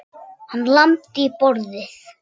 Hann lamdi í borðið.